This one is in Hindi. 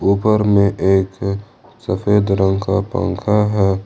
ऊपर में एक सफेद रंग का पंखा है।